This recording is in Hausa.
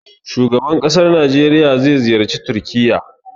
Shugaban ƙasan Najeriya zai ziyarci Turƙiyya.